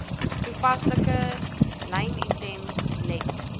toepaslike lynitems let